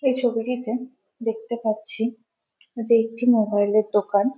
এই ছবিটিতে দেখতে পাচ্ছি যে একটি মোবাইলের দোকান।